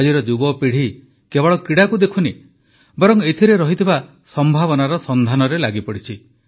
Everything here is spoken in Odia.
ଆଜିର ଯୁବପିଢ଼ି କେବଳ କ୍ରୀଡ଼ାକୁ ଦେଖୁନି ବରଂ ଏଥିରେ ରହିଥିବା ସମ୍ଭାବନାର ସନ୍ଧାନରେ ଲାଗିପଡ଼ିଛି